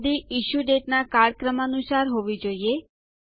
યાદી issue date નાં કાળક્રમાનુંસાર હોવી જોઈએ